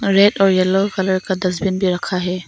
Red और yellow colour का dustbin रखा है।